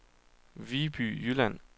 Viby Jylland